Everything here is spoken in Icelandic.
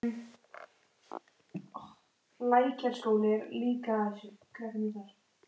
Skíma læðist inn um glugga við enda gangsins.